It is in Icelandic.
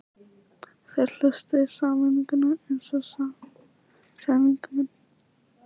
Þeir hlustuðu í sameiningu eins og samsærismenn.